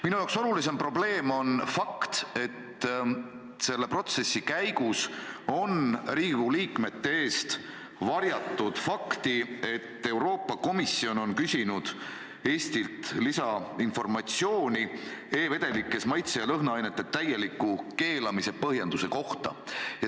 Minu jaoks olulisem probleem on fakt, et selle protsessi käigus on Riigikogu liikmete eest varjatud fakti, et Euroopa Komisjon on küsinud Eestilt lisainformatsiooni e-vedelikes maitse- ja lõhnaainete täieliku keelamise põhjenduse kohta.